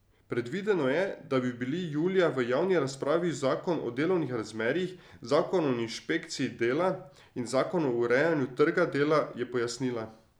Predvideno je, da bi bili julija v javni razpravi zakon o delovnih razmerjih, zakon o inšpekciji dela in zakon o urejanju trga dela, je pojasnila.